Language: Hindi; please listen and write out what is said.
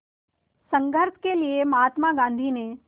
संघर्ष के लिए महात्मा गांधी ने